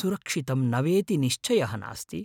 सुरक्षितं न वेति निश्चयः नास्ति।